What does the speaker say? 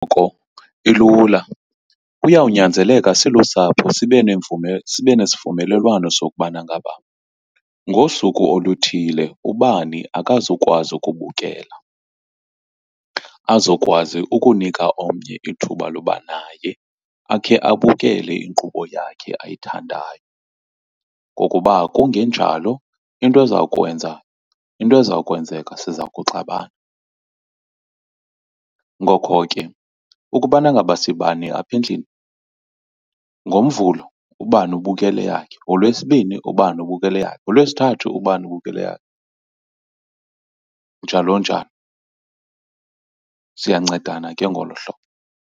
Ilula. Kuyawunyanzeleka silusapho sibe sibe nesivumelelwano sokubana ngaba ngosuku oluthile ubani akazukwazi ukubukela, azokwazi ukunika omnye ithuba loba naye akhe abukele inkqubo yakhe ayithandayo. Ngokuba kungenjalo into izawukwenza into ezokwenzeka, siza kuxabana ngoko ke ukubana ngaba sibane apha endlini ngoMvulo ubani ubukela eyakhe, ngoLwesibini ubani ubukela eyakhe, ngoLwesithathu ubani ubukela eyakhe, njalo njalo. Siyancedana ke ngolo hlobo.